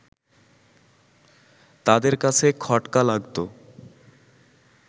তাদের কাছে খটকা লাগত